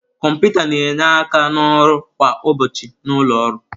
Kọmputa na-enye aka n'ọrụ kwa ụbọchị na ụlọ ọrụ.